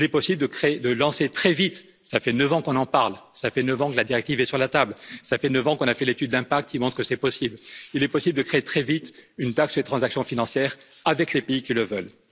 Il est possible de lancer très vite ça fait neuf ans qu'on en parle, ça fait neuf ans que la directive est sur la table, ça fait neuf ans qu'on a fait l'étude d'impact qui montre que c'est possible il est possible de créer très vite une taxe les transactions financières avec les pays qui le veulent.